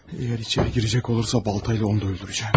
Əgər içəri girəcək olursa balta ilə onu da öldürəcəm.